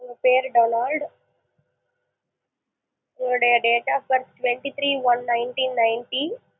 உங்க பேரு டொனால்டு உங்களுடைய date of birth twenty three one nineteen ninety